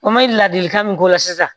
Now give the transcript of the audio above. O ma ladilikan min k'o la sisan